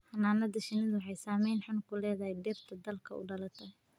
Xannaanada shinnidu waxay saameyn xun ku leedahay dhirta dalka u dhalatay.